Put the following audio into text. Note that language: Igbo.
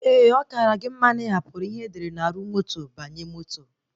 Ee, ọ kara gị mma na ị hapụrụ ihe edere na arụ moto banye moto